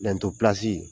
pilasi